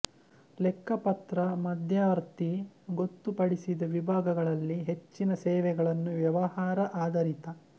ಲೆಕ್ಕಪತ್ರ ಮಧ್ಯವರ್ತಿ ಗೊತ್ತುಪಡಿಸಿದ ವಿಭಾಗಗಳಲ್ಲಿ ಹೆಚ್ಚಿನ ಸೇವೆಗಳನ್ನು ವ್ಯವಹಾರ ಆಧಾರಿತ